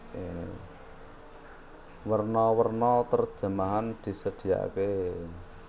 Werna werna terjemahan disediaaké